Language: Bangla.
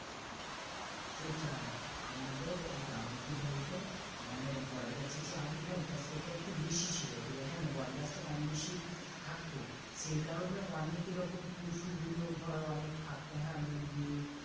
সেটাই, আমাদের গ্রামে কি বলতো মানে বট গাছের যে আবির্ভাবটা সেটা একটু বেশি ছিল ঠিক আছে মানে বটগাছটা কম বেশি থাকতো সেই কারণে অনেক এরকম পশুগুলো ধর অনেক থাকতো হ্যাঁ মুরগি,